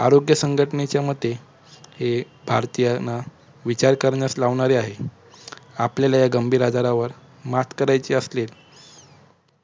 आरोग्य संघटनेच्या मते हे भारतीयांना विचार करण्यास लावणारे आहे. आपल्याला या गंभीर आजारावर मत करायची असेल